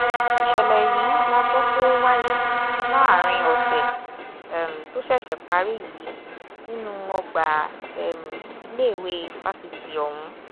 ìṣẹ̀lẹ̀ yìí la gbọ́ pé ó wáyé láàrin ọ̀sẹ̀ um tó ṣẹ̀ṣẹ̀ parí yìí nínú ọgbà um iléèwé fásitì ọ̀hún